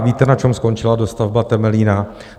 A víte, na čem skončila dostavba Temelína?